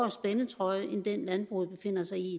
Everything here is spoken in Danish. spændetrøje end den landbruget befinder sig i i